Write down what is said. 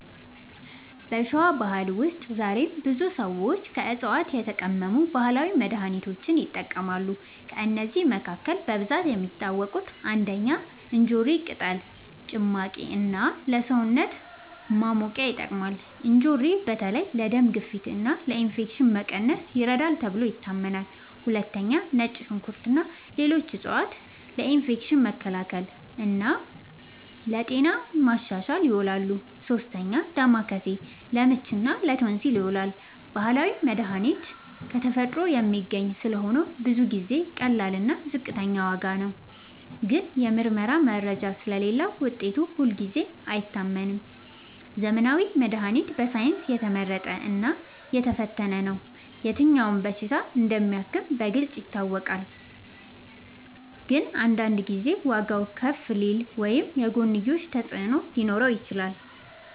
በሸዋ ባህል ውስጥ ዛሬም ብዙ ሰዎች ከዕፅዋት የተቀመሙ ባህላዊ መድሃኒቶችን ይጠቀማሉ። ከእነዚህ መካከል በብዛት የሚታወቁት፦ ፩. እንጆሪ ቅጠል ጭማቂ እና ለሰውነት ማሞቂያ ይጠቅማል። እንጆሪ በተለይ ለደም ግፊት እና ለኢንፌክሽን መቀነስ ይረዳል ተብሎ ይታመናል። ፪. ነጭ ሽንኩርት እና ሌሎች ዕፅዋት ለኢንፌክሽን መከላከል እና ለጤና ማሻሻል ይውላሉ። ፫. ዳማከሴ ለምች እና ለቶንሲል ይዉላል። ባህላዊ መድሃኒት ከተፈጥሮ የሚገኝ ስለሆነ ብዙ ጊዜ ቀላል እና ዝቅተኛ ዋጋ ነው። ግን የምርመራ መረጃ ስለሌለዉ ውጤቱ ሁልጊዜ አይታመንም። ዘመናዊ መድሃኒት በሳይንስ የተመረጠ እና የተፈተነ ነው። የትኛው በሽታ እንደሚያክም በግልጽ ይታወቃል። ግን አንዳንድ ጊዜ ዋጋዉ ከፍ ሊል ወይም የጎንዮሽ ተፅዕኖ ሊኖረው ይችላል።